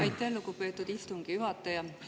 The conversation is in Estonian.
Aitäh, lugupeetud istungi juhataja!